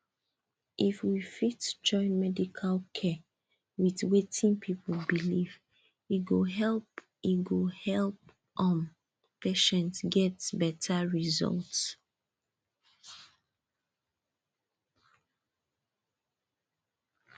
if we fit join medical care with wetin people believe e go help e go help um patients get better result